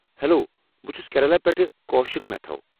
Hello, بہٕ چھُس کیرلا پٮ۪ٹھٕہٕ کوشِک میتھو۔